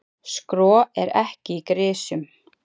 Skro er ekki í grisjum.